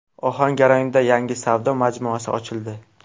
Ohangaronda yangi savdo majmuasi ochildi.